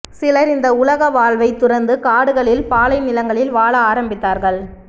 சிலர் இந்த உலக வாழ்வை துறந்து காடுகளில் பாலைநிலங்களில் வாழ ஆரம்பித்தார்கள்